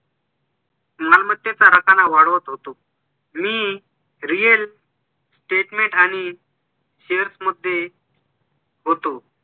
मालमत्तेचा रकाना वाढवत होतो मी real statement आणि shares मध्ये होतो